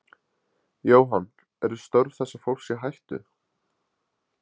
Jóhann: Eru störf þessa fólks í hættu?